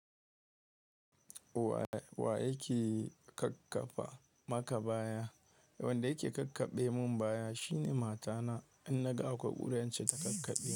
Wa yake kakkafa maka baya? Wanda yake kakkaɓaimin baya shine matana, in naga akwai ƙura sai in ce ta kakkaɓaimin.